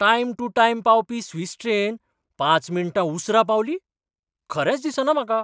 Time to time पावपी Swiss train पांच मिणटां उसरा पावली? खरेंच दिसना म्हाका.